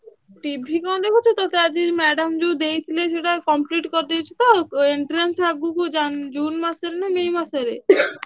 TV କଣ ଦେଖୁଛୁ ତତେ ଆଜି madam ଯୋଉ ଦେଇଥିଲେ ସେଇଟା complete କରିଦେଇଛୁ ତ entrance ଆଗକୁ ଜୁନ ମାସରେ ନା ମେ ମାସ ରେ।